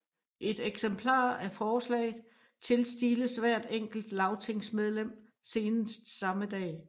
Et eksemplar af forslaget tilstiles hvert enkelt lagtingsmedlem senest samme dag